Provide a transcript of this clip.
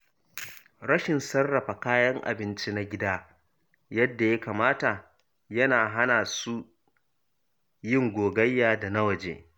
Rashin sarrafa kayan abinci na gida yadda ya kamata yana hana su yin gogayya da na waje.